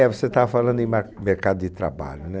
É, você estava falando em marc, mercado de trabalho, né?